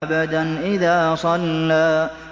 عَبْدًا إِذَا صَلَّىٰ